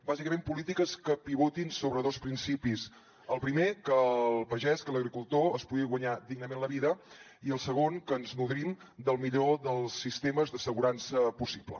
bàsicament polítiques que pivotin sobre dos principis el primer que el pagès que l’agricultor es pugui guanyar dignament la vida i el segon que ens nodrim del millor dels sistemes d’assegurança possible